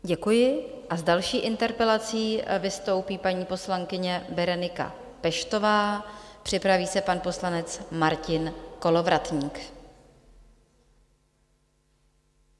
Děkuji a s další interpelací vystoupí paní poslankyně Berenika Peštová, připraví se pan poslanec Martin Kolovratník.